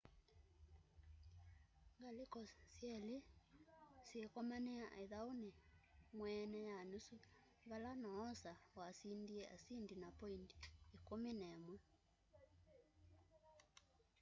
ngaliko syeli syikomania ithauni mweene ya nusu vala noosa wasindie asindi na poindi 11